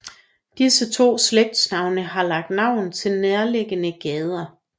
Disse to slægtsnavne har lagt navn til nærliggende gader